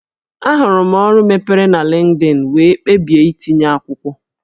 Ahụrụ m ọrụ mepere na Linkedin wee kpebie itinye akwụkwọ